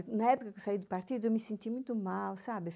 Na época que eu saí do partido, eu me senti muito mal, sabe?